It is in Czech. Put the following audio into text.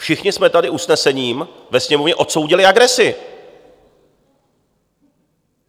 Všichni jsme tady usnesením ve Sněmovně odsoudili agresi.